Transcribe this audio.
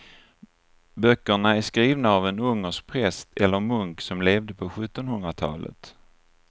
Böckerna är skrivna av en ungersk präst eller munk som levde på sjuttonhundratalet.